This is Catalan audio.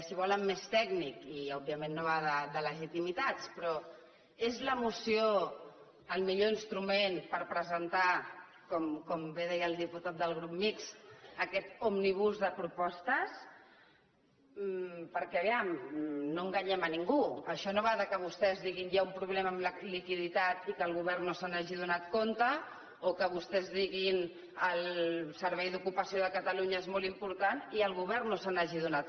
si volen més tècnic i òbviament no va de legitimitats però és la moció el millor instrument per presentar com bé deia el diputat del grup mixt aquest òmnibus de propostes perquè a veure no enganyem a ningú això no va de que vostès diguin que hi ha un problema amb la liquiditat i que el govern no se n’hagi adonat o que vostès diguin el servei d’ocupació de catalunya és molt important i el govern no se n’hagi adonat